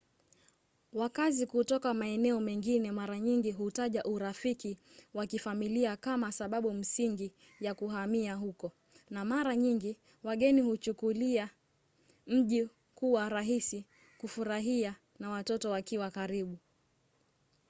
wakazi kutoka maeneo mengine mara nyingi hutaja urafiki wa kifamilia kama sababu msingi ya kuhamia huko na mara nyingi wageni huchukulia mji kuwa rahisi kufurahia na watoto wakiwa karibu